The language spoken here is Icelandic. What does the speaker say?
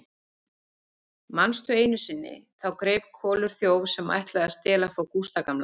Manstu einu sinni, þá greip Kolur þjóf sem ætlaði að stela frá Gústa gamla?